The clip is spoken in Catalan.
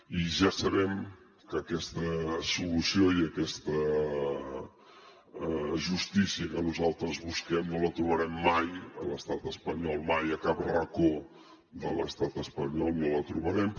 i ja sabem que aquesta solució i aquesta justícia que nosaltres busquem no la trobarem mai a l’estat espanyol mai a cap racó de l’estat espanyol no la trobarem